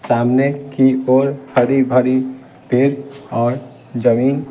सामने की ओर भड़ी-भड़ी पेर और जमीन --